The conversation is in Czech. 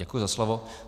Děkuji za slovo.